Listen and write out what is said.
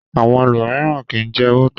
Àwọn ẹlòmíràn kì í jẹ bọ́tà.